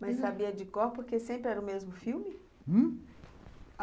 Mas sabia de cor, porque sempre era o mesmo filme? Hum?